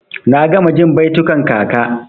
Na gama jin baitukan kaka.